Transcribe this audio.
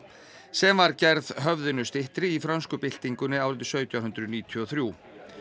sem var gerð höfðinu styttri í frönsku byltingunni árið sautján hundruð níutíu og þrjú